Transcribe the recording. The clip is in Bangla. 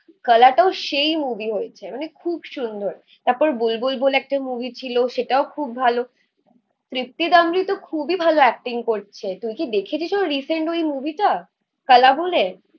কালা টাও সেই মুভি হয়েছে মানে খুব খুব সুন্দর, তারপর বুলবুল বলে একটা মুভি ছিল সেটাও খুব ভালো. তৃপ্তি ডিমরি খুবই ভালো অ্যাকটিং করছে. তুই কি দেখেছিস ওর রিসেন্ট ওই মুভি টা? কালা বলে